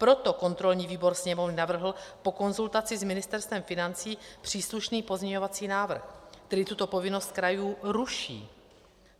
Proto kontrolní výbor Sněmovny navrhl po konzultaci s Ministerstvem financí příslušný pozměňovací návrh, který tuto povinnost krajů ruší.